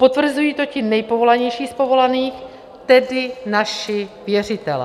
Potvrzují to ti nejpovolanějších z povolaných, tedy naši věřitelé.